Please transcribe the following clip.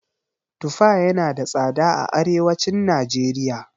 Tufa yana da tsada a arewacin najeriya.